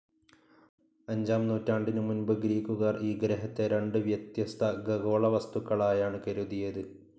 അഞ്ചാം നൂറ്റാണ്ടിനു മുൻപ് ഗ്രീക്കുകാർ ഈ ഗ്രഹത്തെ രണ്ട് വ്യത്യസ്ഥ ഖഗോള വസ്തുക്കളായാണ് കരുതിയത്.